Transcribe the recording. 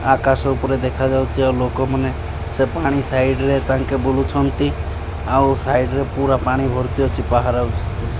ଆକାଶ ଉପରେ ଦେଖାଯାଉଛି ଆଉ ଲୋକମାନେ ସେ ପାଣି ସାଇଡ ରେ ତାଙ୍କେ ବୁଲୁଛନ୍ତି ଆଉ ସାଇଡ ରେ ପୁରା ପାଣି ଭର୍ତି ଅଛି ବହାରେ।